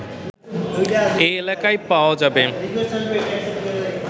এই এলাকায় পাওয়া যাবে